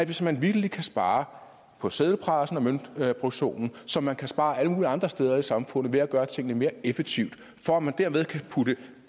hvis man vitterlig kan spare på seddelpressen og møntproduktionen som man kan spare alle mulige andre steder i samfundet ved at gøre tingene mere effektivt for at man dermed kan putte